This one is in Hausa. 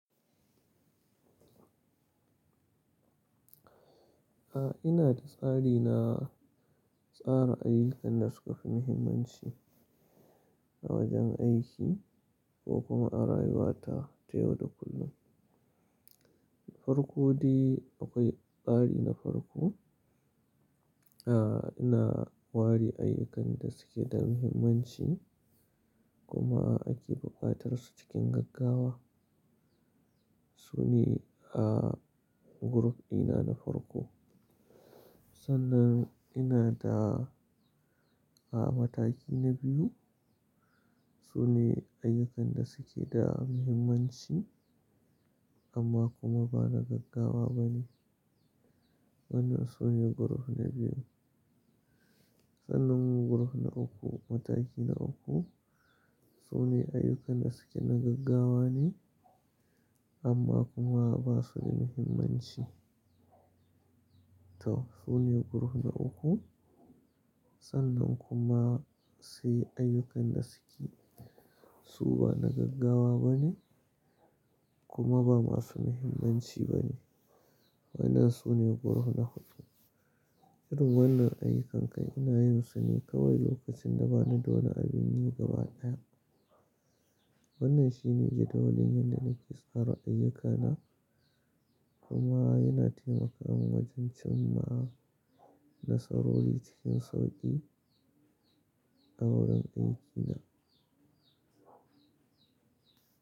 Ah ina tsari na tsara ayyukan da suka fi muhimmanci a wajen aiki ko kuma a rayuwa ta yau da kullum. Farko dai akwai tsari na farko, a ina wari ayyukan da suke da muhimmanci kuma ake buƙatar su cikin gaggawa. Su ne a group dina na farko. Sannan ina da a mataki na biyu su ne ayyukan da suke da muhimmanci amma kuma ba na gaggawa ba ne. Wannan su ne group na biyu. Sannan group na uku mataki na uku su ne ayyukan da suke na gaggawa ne amma kuma ba su da muhimmanci. To su ne group na uku. Sannan kuma sai ayyukan da suka su bana gaggawa kuma ba masu muhimmanci ba ne. Waɗannan su ne group na hudu. Jerin wannan ayyukakai ina yin su ne kawai lokacin da ba ni da wani abin yi gaba ɗaya. Wannan shi ne jadawalin yadda nake tsara ayyukana kuma yana taimaka min wajen cimma nasarori cikin sauƙi a wurin aikina.